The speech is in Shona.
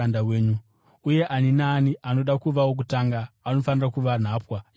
uye ani naani anoda kuva wokutanga anofanira kuva nhapwa yavose.